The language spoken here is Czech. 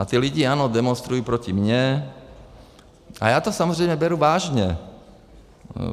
A ti lidé, ano, demonstrují proti mně a já to samozřejmě beru vážně.